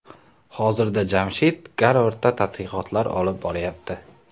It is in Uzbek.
Hozirda Jamshid Garvardda tadqiqotlar olib boryapti.